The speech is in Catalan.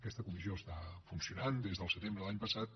aquesta comissió està funcionant des del setembre de l’any passat